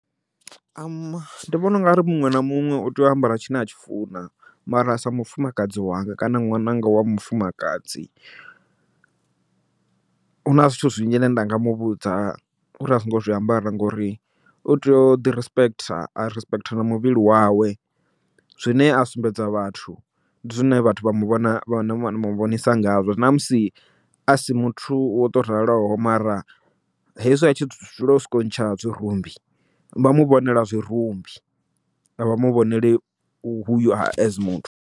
ndi vhona u nga ri muṅwe na muṅwe u tea u ambara tshine a tshi funa, mara sa mufumakadzi wanga kana ṅwananga wa mufumakadzi, huna zwithu zwinzhi zwine nda nga muvhudza uri asingo zwiambaro ngori u tea u ḓi respect, a respect na muvhili wawe. Zwine a sumbedza vhathu ndi zwine vhathu vha muvhonisa ngazwo namusi a si muthu wo to raloho, mara hezwi a tshi dzula o soko ntsha zwirumbi vha muvhonela zwirumbi a vha muvhoneli muthu.